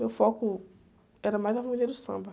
Meu foco era mais Harmonia do Samba.